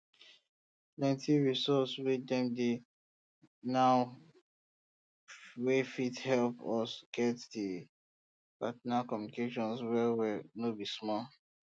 plenty resources wey dey now wey fit help us get this partner communication well well no be small